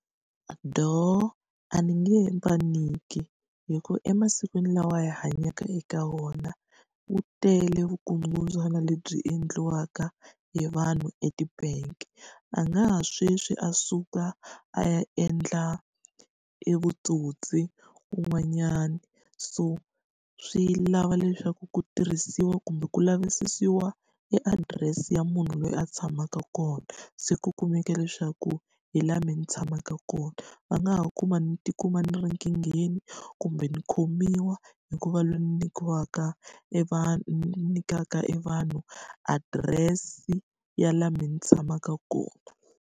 a ni nge va nyiki hikuva emasikwini lawa hi hanyaka eka wona ku tele vukungundzwana lebyi endliwaka hi vanhu e ti-bank. A nga ha sweswi a suka, a ya endla e vutsotsi kun'wanyana so swi lava leswaku ku tirhisiwa kumbe ku lavisisiwa e adirese ya munhu loyi a tshamaka kona, se ku kumeka leswaku hi laha mina ni tshamaka kona. Va nga ha kuma ni ti kuma ni ri nkingheni, kumbe ni khomiwa, hi ku va loyi ni nyikiwaka e nyikaka e vanhu adirese ya laha mina ni tshamaka kona.